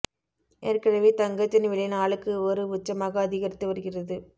ஏற்கனவே தங்கத்தின் விலை நாளுக்கு ஒரு உச்சமாக அதிகரித்து வருகிறது